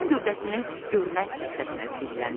Puxun gövdəsinin görünən hissəsinə zilləndi.